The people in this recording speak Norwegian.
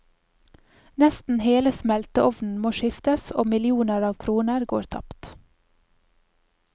Nesten hele smelteovnen må skiftes, og millioner av kroner går tapt.